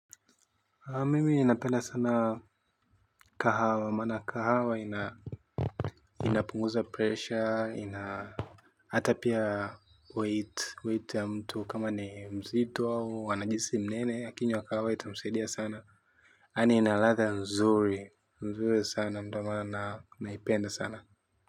Mimi napenda sana kahawa maana kahawa ina inapunguza pressure ina hata pia weight weight ya mtu kama ni mzito au anajihisi mnene akinyua kahawa itamusaidia sana yani inaladha mzuri mzuri sana ndo maana naipenda sana.